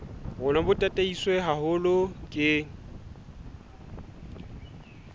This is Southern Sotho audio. rona bo tataiswe haholo ke